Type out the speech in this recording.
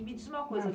E me diz uma coisa.